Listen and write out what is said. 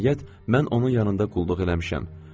Nəhayət, mən onun yanında qulluq eləmişəm.